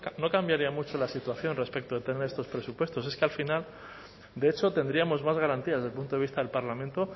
no cambiaría mucho la situación respecto a tener estos presupuestos es que al final de hecho tendríamos más garantías del punto de vista del parlamento